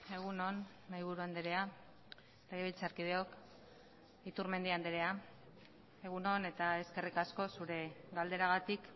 egun on mahaiburu andrea legebiltzarkideok iturmendi andrea egun on eta eskerrik asko zure galderagatik